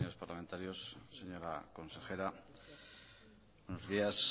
parlamentarios señora consejera buenos días